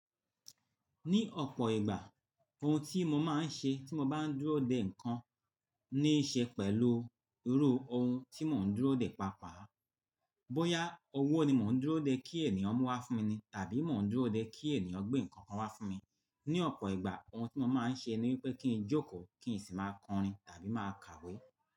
Ní ọ̀pọ̀ ìgbà, ohun tí mo máa ń ṣe tí mo bá ń dúró dè nǹkan ní í ṣe pẹ̀lú irú ohun tí mò ń dúró dè pàápàá. Bóyá owó ni mò ń dúró dè kí ènìyàn mú wá fún mi ni tàbí mò ń dúró dè kí ènìyàn gbé nǹkan kan wá fún mi. Ní ọ̀pọ̀ ìgbà ohun tí mo máa ń ṣe ni wípé kí n jókòó, kí n sì máa kọrin tàbí máa kàwé.